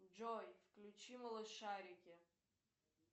джой включи малышарики